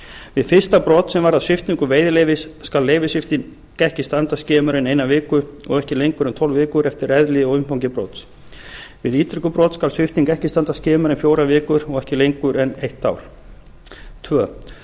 við fyrsta brot sem varðar sviptingu veiðileyfis skal leyfissvipting ekki standa skemur en eina viku og ekki lengur en tólf vikur eftir eðli og umfangi brots við ítrekuð brot skal svipting ekki standa skemur en fjórar vikur og ekki lengur en eitt ár annars